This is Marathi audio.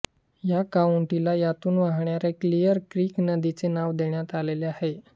या काउंटीला यातून वाहणाऱ्या क्लियर क्रीक नदीचे नाव देण्यात आलेले आहे